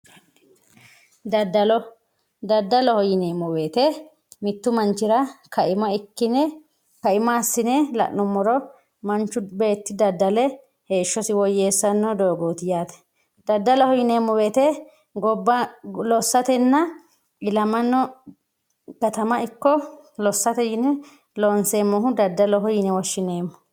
daddalo daddaloho yineemo woyiite mittu manchira ka"ima ikkine ka"ima assine la'numoro manchu beeti daddale heeshosi woyeesanno dogooti yaate daddaloho yineemo woyiite gobba lossatenna ilamano katama ikko lossate yine loonseemohu daddaloho yine woshshineemo.